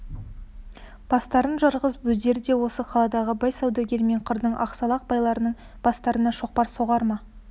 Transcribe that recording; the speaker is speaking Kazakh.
бастарын жарғызып өздері де осы қаладағы бай саудагер мен қырдың ақсақал байларының бастарына шоқпар соғар ма